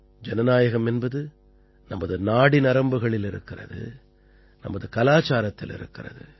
ஜனநாயகம் என்பது நமது நாடிநரம்புகளில் இருக்கிறது நமது கலாச்சாரத்தில் இருக்கிறது